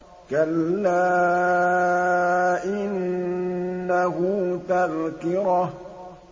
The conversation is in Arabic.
كَلَّا إِنَّهُ تَذْكِرَةٌ